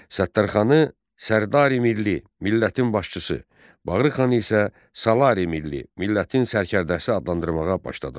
Səttərxanı Sərdari Milli, millətin başçısı, Bağırxanı isə Salari Milli, millətin sərkərdəsi adlandırmağa başladılar.